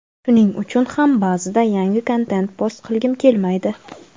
shuning uchun ham ba’zida yangi kontent post qilgim kelmaydi.